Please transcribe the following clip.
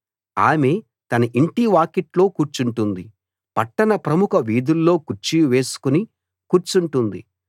ఆమె తన ఇంటి వాకిట్లో కూర్చుంటుంది పట్టణ ప్రముఖ వీధుల్లో కుర్చీ వేసుకుని కూర్చుంటుంది